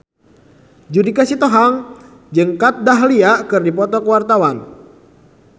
Judika Sitohang jeung Kat Dahlia keur dipoto ku wartawan